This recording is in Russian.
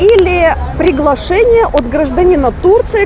или приглашение от гражданина турции